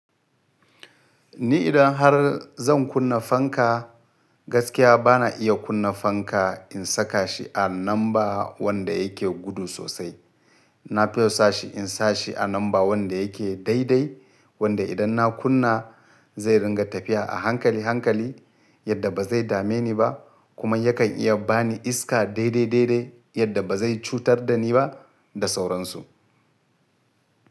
Ni idan har zan kunna fanka, gaskiya ba na iya kunna fanka in saka shi a namba wanda yake gudu sosai. Na fiyosa shi in sa shi a namba wanda yake daidai, wanda idan na kunna zai ringa tafiya a hankali hankali yadda ba zai dame ni ba kuma yakan iya ba ni iska daidai daidai yadda ba zai cutar da ni ba da sauransu.